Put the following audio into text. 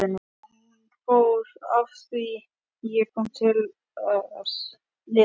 Og hún fór afþvíað ég kom til að lifa.